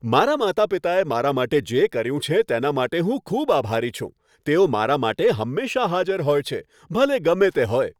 મારા માતા પિતાએ મારા માટે જે કર્યું છે તેના માટે હું ખૂબ આભારી છું. તેઓ મારા માટે હંમેશાં હાજર હોય છે, ભલે ગમે તે હોય.